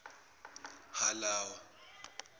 halawa